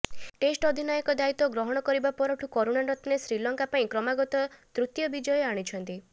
test ଅଧିନାୟକ ଦାୟିତ୍ବ ଗ୍ରହଣ କରିବା ପରଠୁ କରୁଣାରତ୍ନେ ଶ୍ରୀଲଙ୍କା ପାଇଁ କ୍ରମାଗତ ତୃତୀୟ ବିଜୟ ଆଣିଛନ୍ତି